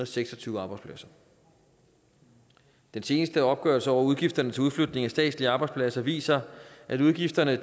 seks og tyve arbejdspladser den seneste opgørelse over udgifterne til udflytningen af statslige arbejdspladser viser at udgifterne